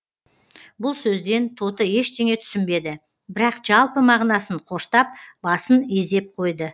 бұл сөзден тоты ештеңе түсінбеді бірақ жалпы мағынасын қоштап басын изеп қойды